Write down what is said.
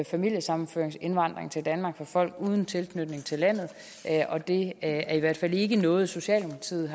familiesammenføringsindvandring til danmark fra folk uden tilknytning til landet og det er i hvert fald ikke noget socialdemokratiet